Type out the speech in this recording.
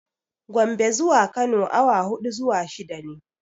Gombe zuwa Kano awa huɗu zuwa shida ne.